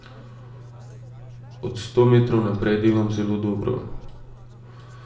Od sto metrov naprej delam zelo dobro.